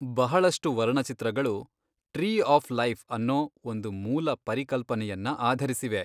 ಬಹಳಷ್ಟು ವರ್ಣಚಿತ್ರಗಳು ,tree of life, ಅನ್ನೊ ಒಂದು ಮೂಲ ಪರಿಕಲ್ಪನೆಯನ್ನ ಆಧರಿಸಿವೆ.